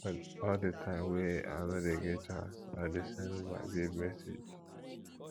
all di time wey i no dey get chance i dey send my babe message